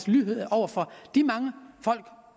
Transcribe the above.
lydhør over for de mange folk